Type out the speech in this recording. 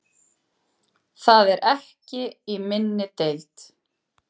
Það er ekki í minni deild.